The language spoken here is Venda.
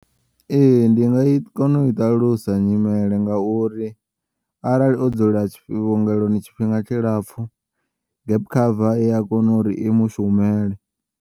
Ee, ndi nga kona uyi ṱalusa nyimele ngauri arali o dzula tshi vhuongeloni tshifhinga tshilapfu gap cover iya kona uri i mushumele.